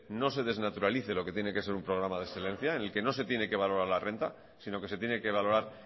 no se desnaturalice lo que tiene que ser un programa de excelencia en el que no se tiene que valorar la renta sino que se tiene que valorar